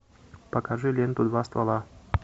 покажи ленту два ствола